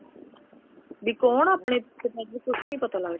ਵੀ ਕੋਣ ਆਪਣੇ ਇੱਥੇ ਕੁੱਛ ਨੀ ਪਤਾ ਲੱਗਦਾ